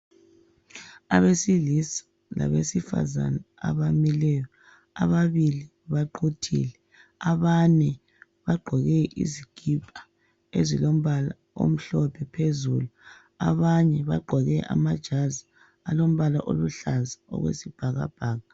Abesilisa labesifazana abamileyo, ababili baquthile abanye bagqoke izikipa ezilombala omhlophe phezulu, abanye bagqoke amajazi alombala okwesibhakabhaka.